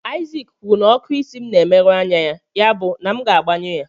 Isaac kwuru na ọkụ isi m na-emerụ anya ya, yabụ na m ga-agbanyụ ya.